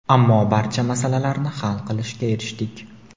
ammo barcha masalalarni hal qilishga erishdik.